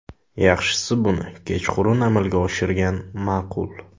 Yaxshisi buni kechqurun amalga oshirgan ma’qul.